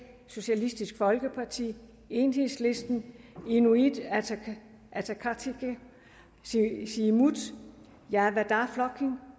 socialistisk folkeparti enhedslisten inuit ataqatigiit siumut javnaðarflokkurin